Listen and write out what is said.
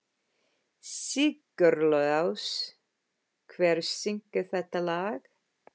Sigurlás, hver syngur þetta lag?